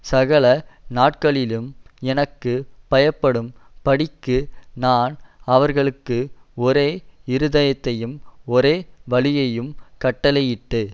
சகல நாட்களிலும் எனக்கு பயப்படும் படிக்கு நான் அவர்களுக்கு ஒரே இருதயத்தையும் ஒரே வழியையும் கட்டளையிட்டு